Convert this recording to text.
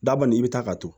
Daba kɔni i bɛ taa ka turu